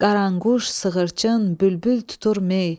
Qaranquş, sığırçın, bülbül tutur mey.